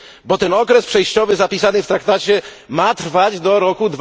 bo ten okres przejściowy zapisany w traktacie ma trwać do roku